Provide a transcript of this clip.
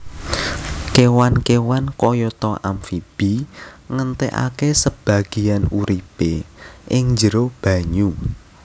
Kéwan kéwan kayata amfibi ngentèkaké sebagéyan uripé ing njero banyu